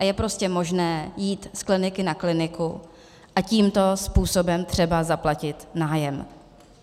A je prostě možné jít z kliniky na kliniku a tímto způsobem třeba zaplatit nájem.